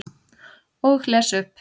Og les upp.